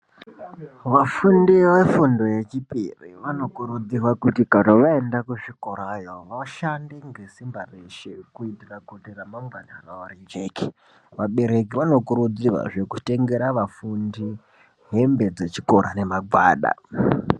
Vafundi vefundo yechipiri vanokurudzirwa kuti kana vaenda kuzvikorayo vashande ngesimba reshe kuitira kuti ramangwana ravo rijeke. Vabereki vanokurudzirwazve kuti vatengere vafundi hembe dzechikora nemagwada.